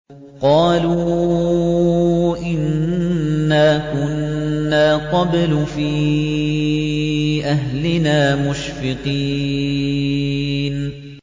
قَالُوا إِنَّا كُنَّا قَبْلُ فِي أَهْلِنَا مُشْفِقِينَ